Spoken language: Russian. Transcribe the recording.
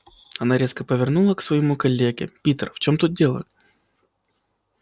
она резко повернула к своему коллеге питер в чем тут дело